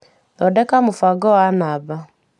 Thondekera mũbango wa namba.